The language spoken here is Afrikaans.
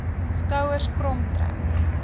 skouers krom trek